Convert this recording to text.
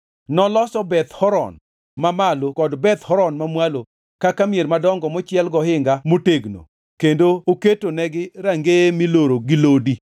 Noloso Beth Horon Mamalo kod Beth Horon Mamwalo kaka mier madongo mochiel gohinga motegno kendo oketnegi rangeye miloro gi lodi.